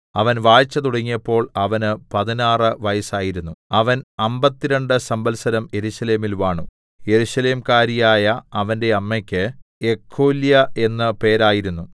അവൻ വാഴ്ച തുടങ്ങിയപ്പോൾ അവന് പതിനാറ് വയസ്സായിരുന്നു അവൻ അമ്പത്തിരണ്ടു സംവത്സരം യെരൂശലേമിൽ വാണു യെരൂശലേംകാരിയായ അവന്റെ അമ്മയ്ക്ക് യെഖോല്യാ എന്ന് പേരായിരുന്നു